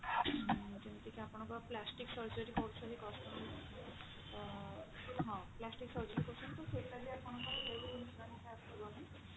ଉମ ଯେମିତିକି ଆପଣଙ୍କ plastic surgery କରୁଛନ୍ତି customer ମାନେ ତ ହଁ plastic surgery କରୁଛନ୍ତି ତ ସେଟା ବି ଆପଣଙ୍କର health insurance ରେ ଆସିବନି